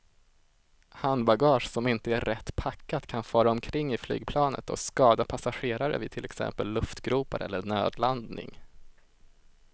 Handbagage som inte är rätt packat kan fara omkring i flygplanet och skada passagerare vid till exempel luftgropar eller nödlandning.